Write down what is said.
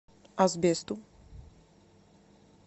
асбесту